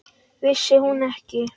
Vissi hún ekki!